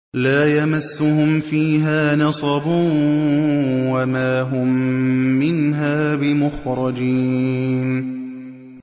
لَا يَمَسُّهُمْ فِيهَا نَصَبٌ وَمَا هُم مِّنْهَا بِمُخْرَجِينَ